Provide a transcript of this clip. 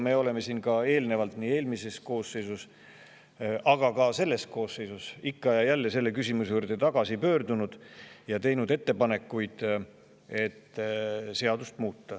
Me oleme ka eelnevalt – nii eelmise koosseisu ajal kui ka selle koosseisu ajal – selle küsimuse juurde ikka ja jälle tagasi pöördunud ning teinud ettepanekuid, et seadust muuta.